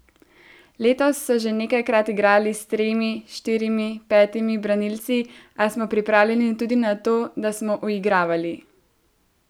Letos so že nekajkrat igrali s tremi, štirimi, petimi branilci, a smo pripravljeni tudi na to, to smo uigravali.